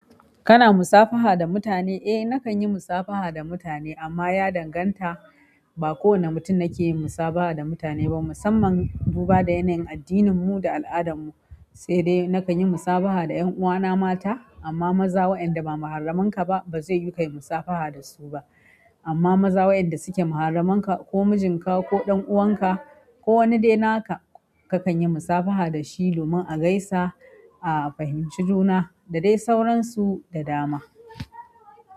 Kana musafaha da mutane? Eh nakan yi musabaha da mutane, amma ya danganta ba kowane mutum nake yin musabaha da mutane ba musamman duba da yanayin addininmu da al'adanmu sai dai nakan yi musabaha da 'yan uwana mata amma maza waɗanda ba muharraminka ba ba zai yiwu kayi musafaha dasu ba. Amma maza waɗanda suke muharraminka ko mijinka ko ɗan'uwanka ko wani dai naka, kakan yi musafaha da shi domin a gaisa, a fahimci juna da dai sauransu da dama.